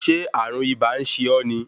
Ṣé ààrùn ibà ń ṣe ọ́ ni?